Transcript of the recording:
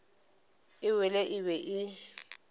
e wele e be e